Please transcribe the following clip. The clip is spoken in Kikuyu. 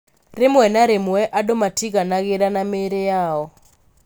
Rĩmwe na rĩmwe, andũ matiiganagĩra nĩ mĩĩrĩ yao.